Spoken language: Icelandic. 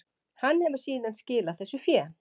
Hann hefur síðan skilað þessu fé